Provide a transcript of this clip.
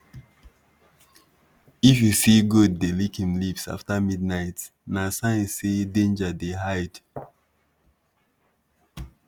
if you see goat dey lick im lips after midnight na sign say danger dey hide.